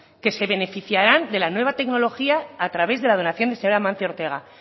que se beneficiarán de la nueva tecnología a través de la donación del señor amancio ortega